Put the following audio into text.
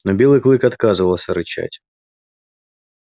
но белый клык отказывался рычать